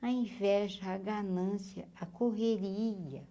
a inveja a ganância, a correria.